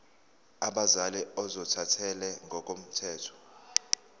abazali ozothathele ngokomthetho